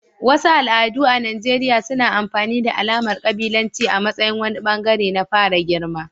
Wasu al'adu a Najeriya suna amfani da alamar kabilanci a matsayin wani bangare na fara girma.